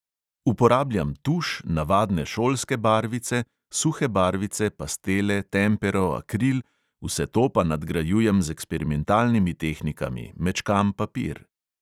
Uporabljam tuš, navadne šolske barvice, suhe barvice, pastele, tempero, akril, vse to pa nadgrajujem z eksperimentalnimi tehnikami, mečkam papir ...